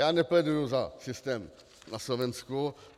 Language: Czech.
Já nepléduju za systém na Slovensku.